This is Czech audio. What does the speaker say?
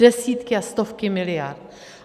Desítky a stovky miliard.